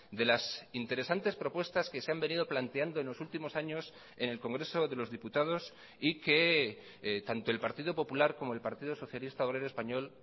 de las interesantes propuestas que se han venido planteando en los últimos años en el congreso de los diputados y que tanto el partido popular como el partido socialista obrero español